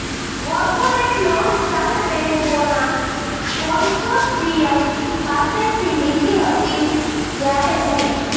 corporate loan સાત બેન્કોના consortium પાસેથી લીધી હતી જ્યારે રૂ